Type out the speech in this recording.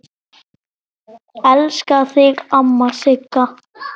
Elska þig, amma Sigga.